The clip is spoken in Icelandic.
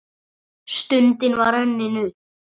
Stundin var runnin upp.